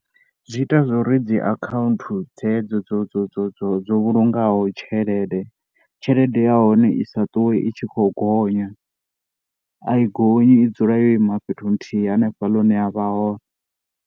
Zwi ita zwo ri dzi akhaunthu dzedzo dzo dzo dzo vhulungaho tshelede, tshelede ya hone i sa ṱuwe i tshi khou gonya. A i gonyi i dzula yo ima fhethu nthihi hanefha hune a ya vha hone.